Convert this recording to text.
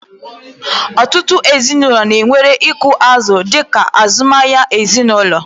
Ọtụtụ ezinụlọ na-ewere ịkụ azụ̀ dị ka azụmahịa ezinụlọ.